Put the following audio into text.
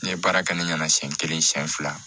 Ne ye baara kɛ ni ɲana siɲɛ kelen siɲɛ fila